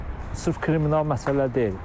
Deməli bu sırf kriminal məsələ deyil.